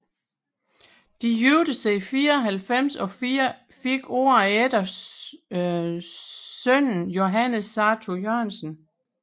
De giftede sig i 94 og fik året efter sønnen Johannes Sartou Jørgensen